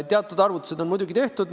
Teatud arvutused on muidugi tehtud.